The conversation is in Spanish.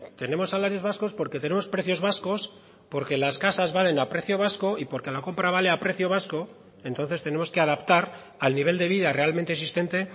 tenemos salarios vascos porque tenemos precios vascos porque las casas valen a precio vasco y porque la compra vale a precio vasco entonces tenemos que adaptar al nivel de vida realmente existente